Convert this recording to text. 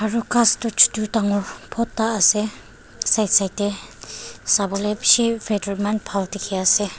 aru ghas toh chutu dangor bhorta asa side side tae savolae bishi weather eman bhal dekhi asa.